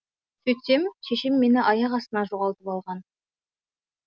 сөйтсем шешем мені аяқ астынан жоғалтып алған